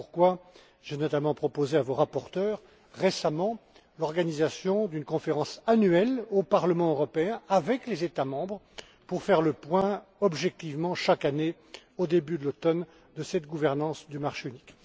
Voilà pourquoi j'ai notamment proposé récemment à vos rapporteurs l'organisation d'une conférence annuelle au Parlement européen, avec les États membres, pour faire le point objectivement, chaque année, au début de l'automne sur cette gouvernance du marché unique.